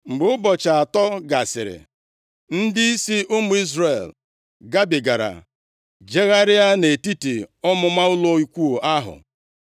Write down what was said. Mgbe ụbọchị atọ gasịrị, ndịisi ụmụ Izrel gabigara jegharịa nʼetiti ọmụma ụlọ ikwu ahụ,